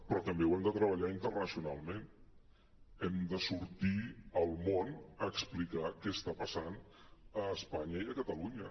però també ho hem de treballar internacionalment hem de sortir al món a explicar què està passant a espanya i a catalunya